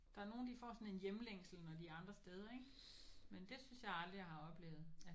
Der er nogen de får sådan en hjemlængsel når de er andre steder ikk men det synes jeg aldrig jeg har oplevet